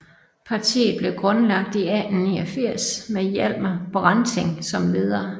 Partiet blev grundlagt i 1889 med Hjalmar Branting som leder